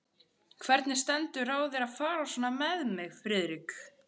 Hvernig stendur á þér að fara svona með mig, Friðrik?